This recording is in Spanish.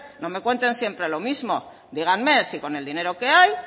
no me cuenten siempre lo mismo díganme si con el dinero que hay